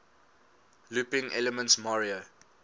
looping elements mario